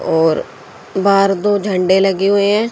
और बाहर दो झंडे लगे हुए हैं।